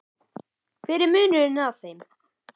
En hver er munurinn á þeim?